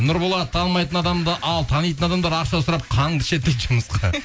нұрболат танымайтын адамды ал танитын адамдар ақша сұрап қаныңды ішеді дейді жұмысқа